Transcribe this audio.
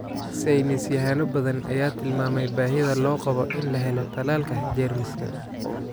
Saynis yahano badan ayaa tilmaamay baahida loo qabo in la helo tallaalka jeermiskan.